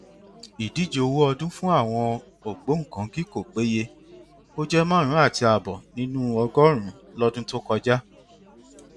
ìdíje owó ọdún fún àwọn ògbóńkángí kò péye ó jẹ márùnún àti ààbọ nínú ọgọrùnún lọdún tó kọjá